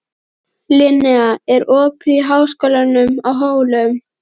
Linnea, er opið í Háskólanum á Hólum?